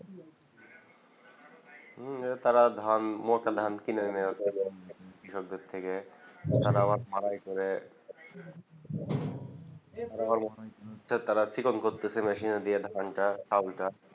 হম তারা ধান মোটা ধান কিনে এনে কৃষকদের থেকে তারা আবার ঝাড়াই করে তারা চিকন করতেছে মেশিনে দিয়ে ধান তা চালটা